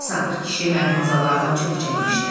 Sadiq kişi mərdməzallardan çox çəkmişdi.